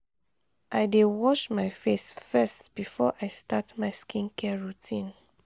i dey wash my face first before i start my skincare routine.